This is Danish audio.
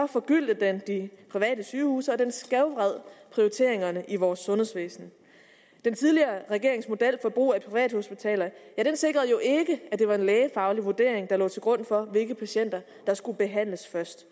forgyldte den de private sygehuse og den skævvred prioriteringerne i vores sundhedsvæsen den tidligere regerings model for brug af privathospitaler sikrede jo ikke at det var en lægefaglig vurdering der lå til grund for hvilke patienter der skulle behandles først